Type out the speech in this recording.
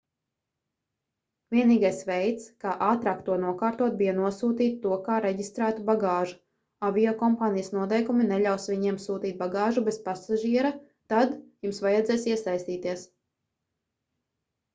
vienīgais veids kā ātrāk to nokārtot bija nosūtīt to kā reģistrētu bagāžu aviokompānijas noteikumi neļaus viņiem sūtīt bagāžu bez pasažiera tad jums vajadzēs iesaistīties